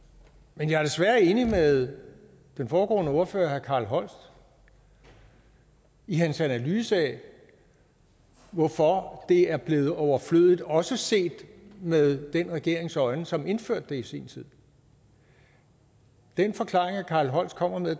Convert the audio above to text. men jeg er desværre enig med den foregående ordfører herre carl holst i hans analyse af hvorfor det er blevet overflødigt også set med den regerings øjne som indførte det i sin tid den forklaring herre carl holst kommer med